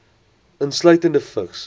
insluitende vigs